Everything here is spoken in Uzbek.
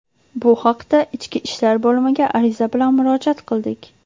Bu haqda Ichki ishlar bo‘limiga ariza bilan murojaat qildik.